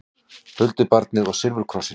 Huldubarnið og silfurkrossinn